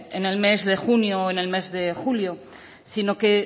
en el mes de junio o en el mes de julio sino que